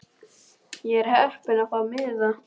Ég var heppin að fá miða.